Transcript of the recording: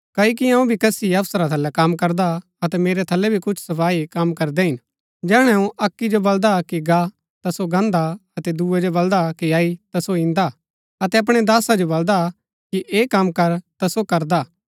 क्ओकि अऊँ भी कसी अफसरा थलै कम करदा अतै मेरै थलै भी कुछ सपाई कम करदै हिन जैहणै अऊँ अक्की जो बल्‍दा कि गा ता सो गाहन्‍दा अतै दूये जो बलदा कि अई ता सो ईन्दा अतै अपणै दासा जो बलदा कि ऐह कम कर ता सो करदा